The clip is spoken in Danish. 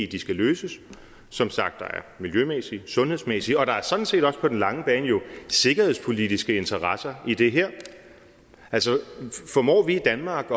de skal løses som sagt er der miljømæssige og sundhedsmæssige og sådan set også på den lange bane jo sikkerhedspolitiske interesser i det her altså formår vi i danmark